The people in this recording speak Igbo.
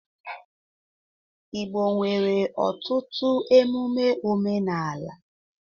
Igbo nwere ọtụtụ emume omenala.